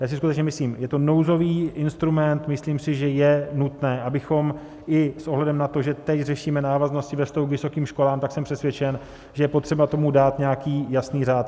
Já si skutečně myslím, je to nouzový instrument, myslím si, že je nutné, abychom i s ohledem na to, že tady řešíme návaznosti ve vztahu k vysokým školám, tak jsem přesvědčen, že je potřeba tomu dát nějaký jasný řád.